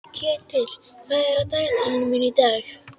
Ketill, hvað er á dagatalinu mínu í dag?